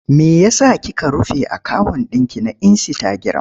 Me ya sa kika rufe akawun ɗinki na insitagiram?